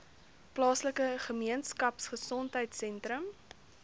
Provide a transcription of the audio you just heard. plaaslike gemeenskapgesondheid sentrum